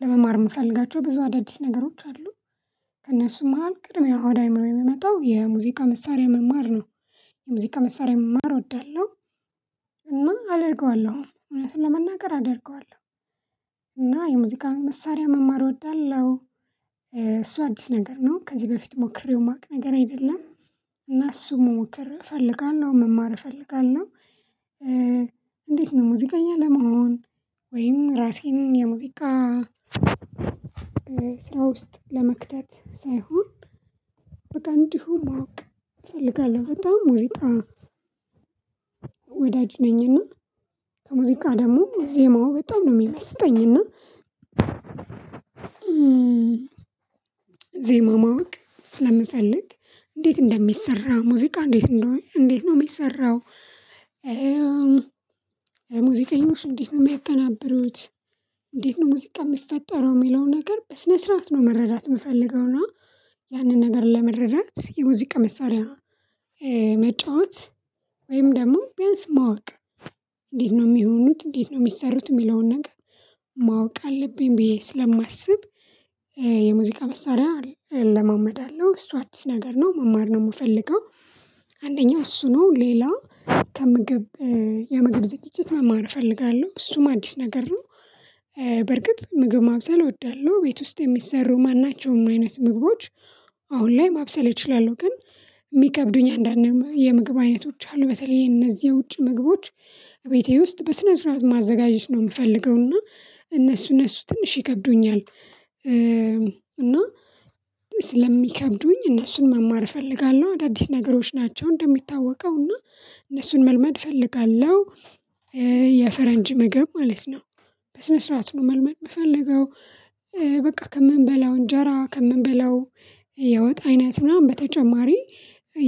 ለመማር የምፈልጋቸው ብዙ አዳዲስ ነገሮች አሉ ከእነሱም መሃል ቅድሚያ ወደ አእምሮዬ የሚመጣው የሙዚቃ መሳሪያ መማር ነው። የሙዚቃ መሳሪያ መማር እወዳለሁ። እና አደርገዋለሁ እውነቱን ለመናገር አደርገዋለሁ። እና የሙዚቃ መሳሪያ መማር እወዳለሁ። እሱ አዲስ ነገር ነው ከዚህ በፊት ሞክሬው የማውቅ ነገር አይደለም። እና እሱን መሞከር እፈልጋለሁ መማር እፈልጋለሁ እንዴት ነው ሙዚቀኛ ለመሆን? ወይም ራሴን የሙዚቃ ስራ ውስጥ ለመክተት ሳይሆን። በቃ እንዲሆን ማወቅ እፈልጋለሁ። በጣም ሙዚቃ ወዳጅ ነኝና ከሙዚቃ ደግሞ ዜማው በጣም ነው የሚመስጠኝና። ዜማ ማወቅ ስለምፈልግ እንዴት እንደሚሰራ ሙዚቃ እንዴት እንደሆነ እንዴት ነው የሚሰራው? ሙዚቀኞች እንዴት ነው የሚቀናበሩት? እንዴት ነው ሙዚቃ የሚፈጠረው የሚለው ነገር በስነ ስርዓት ነው መረዳት የምፈልገው ነው። እና ያንን ነገር ለመረዳት የሙዚቃ መሳሪያ መጫወት ወይም ደግሞ ቢያንስ ማወቅ እንዴት ነው የሚሆኑት እንዴት ነው የሚሰሩት የሚለውን ነገር ማወቅ አለብኝ ብዬ ስለማስብ። የሙዚቃ መሳሪያ እለማመዳለው እሱ አዲስ ነገር ነው መማር ነው የምፈልገው። አንደኛው እሱ ነው ሌላ ከምግብ የምግብ ዝግጅት መማር እፈልጋለሁ እሱም አዲስ ነገር ነው። በርግጥ ምግብ ማብሰል እወዳለሁ ቤት ውስጥ የሚሰሩ ማናቸውም አይነት ምግቦች። አሁን ላይ ማብሰል እችላለሁ ግን የሚከብዱኝ አንዳንድ የምግብ አይነቶች አሉ በተለይ እነዚህ የውጭ ምግቦች ቤቴ ውስጥ በስነ ስርዓት ማዘጋጀት ነው የምፈልገው እና እነሱ እነሱ ትንሽ ይከብዱኛል። እና ስለሚከብዱኝ እነሱን መማር እፈልጋለሁ አዳዲስ ነገሮች ናቸው እንደሚታወቀው እና እነሱን መልመድ እፈልጋለሁ። የፈረንጅ ምግብ ማለት ነው በስነ ስርዓት ነው መልመድ የምፈልገው። በቃ ከምንበላው እንጀራ ከምንበላው የወጥ አይነት ምናምን በተጨማሪ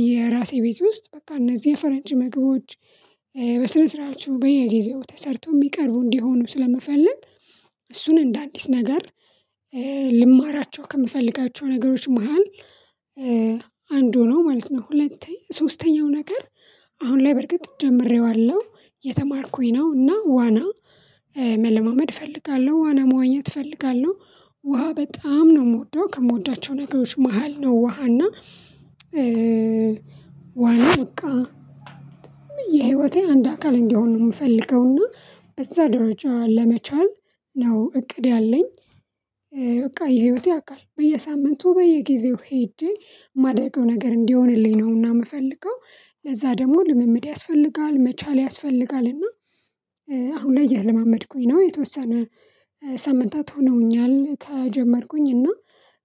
የራሴ ቤት ውስጥ በቃ እነዚህ የፈረንጅ ምግቦች። በስነ ስርዓቱ በየጊዜው ተሰርቶ የሚቀርቡ እንዲሆኑ ስለምፈልግ እሱን እንደ አዲስ ነገር ልማር ከምፈልጋቸው ነገሮች መሃል አንዱ ነው ማለት ነው። ሁለተኛ ሶስተኛው ነገር አሁን ላይ በርግጥ ጀምሬዋለሁ እየተማርኩኝ ነው እና ዋና መለማመድ እፈልጋለሁ። ዋና መዋኘት እፈልጋለሁ ውሃ በጣም ነው የምወደው ከምወዳቸው ነገሮች መሃል ነው ውሃ እና ዋና በቃ የህይወቴ አንድ አካል እንዲሆን ነው የምፈልገው እና በዛ ደረጃ ለመቻል ነው እቅድ ያለኝ። በቃ የህይወቴ አካል በየሳምንቱ በየጊዜው ሄጄ የማደርገው ነገር እንዲሆንልኝ ነውና የምፈልገው ለዛ ደግሞ ልምምድ ያስፈልጋል መቻል ያስፈልጋል እና አሁን ላይ እየተለማመድኩኝ ነው። የተወሰነ ሳምንታት ሆነውኛል ከጀመርኩኝ እና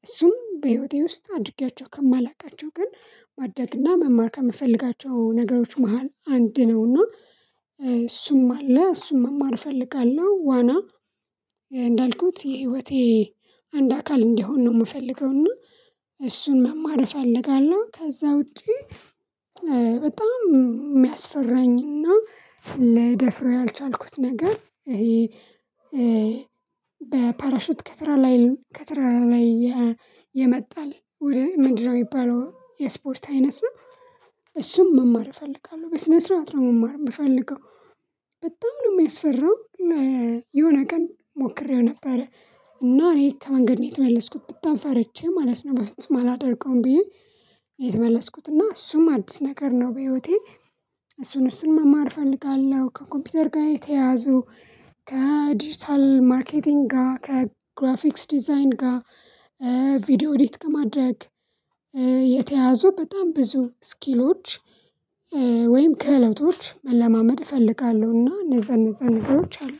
እሱም በህይወቴ ውስጥ አድርጌያቸው ከማላውቃቸው ግን ማድረግና መማር ከምፈልጋቸው ነገሮች መሃል አንድ ነውና። እሱም አለ እሱን መማር እፈልጋለሁ። ዋና እንዳልኩት የህይወቴ አንድ አካል እንዲሆን ነው የምፈልገው እና እሱን መማር እፈልጋለሁ። ከዛ ውጪ በጣም የሚያስፈራኝና ልደፍር ያልቻልኩት ነገር ይሄ። በፓራሹት ከትራራ ላይ ከተራራ ላይ የመጣል ወደ ምንድነው የሚባለው የስፖርት አይነት ነው። እሱን መማር እፈልጋለሁ በስነ ስርዓት ነው መማር የምፈልገው። ነው የሚያስፈራው። የሆነ ቀን ሞክሬው ነበረ እና እኔ ከመንገድ ነው የተመለስኩት በጣም ፈርቼ ማለት ነው በፍጹም አላደርገውም ብዬ። የተመለስኩት እና እሱም አዲስ ነገር ነው በህይወቴ። እሱን እሱን መማር እፈልጋለሁ። ከኮምፒውተር ጋር የተያዙ ከዲጂታል ማርኬቲንግ ጋር ከግራፊክስ ዲዛይን ጋር ቪዲዮ ኤዲት ከማድረግ። በጣም ብዙ ስኪሎች። ወይም ከለውጦች መለማመድ እፈልጋለሁና እነዛን እነዛን ነገሮች አሉ